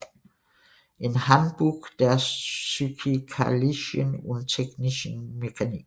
In Handbuch der physikalischen und technischen Mechanik